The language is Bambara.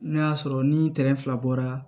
N'o y'a sɔrɔ ni fila bɔra